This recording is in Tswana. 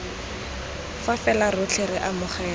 fa fela rotlhe re amogela